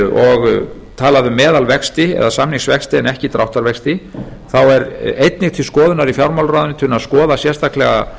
og talað um meðalvexti eða samningsvexti en ekki dráttarvexti þá er einnig til skoðunar í fjármálaráðuneytinu að skoða sérstaklega